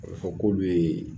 Ɔ bɛ fɔ k'olu yee